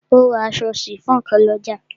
O ra aṣọ sifon kan lọ́jà.